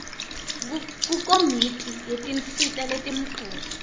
kukomiti yetinsita letimcoka